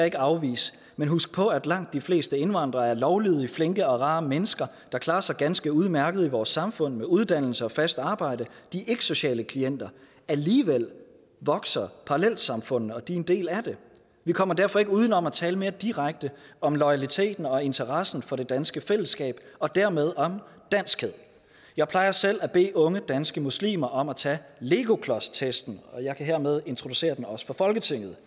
ikke afvise men husk på at langt de fleste indvandrere er lovlydige flinke og rare mennesker der klarer sig ganske udmærket i vores samfund med uddannelse og fast arbejde de er ikke sociale klienter og alligevel vokser parallelsamfundene og de er en del af det vi kommer derfor ikke uden om at tale mere direkte om loyaliteten og interessen for det danske fællesskab og dermed om danskhed jeg plejer selv at bede unge danske muslimer om at tage legoklodstesten og jeg kan hermed introducere den også for folketinget